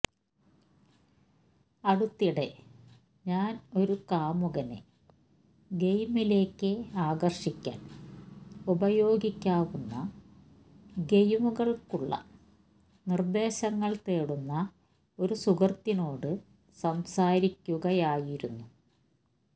അടുത്തിടെ ഞാൻ ഒരു കാമുകനെ ഗെയിമിംഗിലേക്ക് ആകർഷിക്കാൻ ഉപയോഗിക്കാവുന്ന ഗെയിമുകൾക്കുള്ള നിർദ്ദേശങ്ങൾ തേടുന്ന ഒരു സുഹൃത്തിനോട് സംസാരിക്കുകയായിരുന്നു